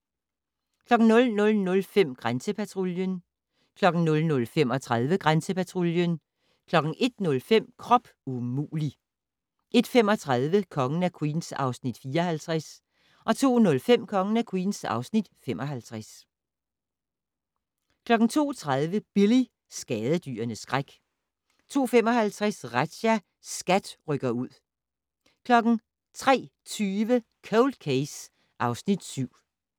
00:05: Grænsepatruljen 00:35: Grænsepatruljen 01:05: Krop umulig! 01:35: Kongen af Queens (Afs. 54) 02:05: Kongen af Queens (Afs. 55) 02:30: Billy - skadedyrenes skræk 02:55: Razzia - SKAT rykker ud 03:20: Cold Case (Afs. 7)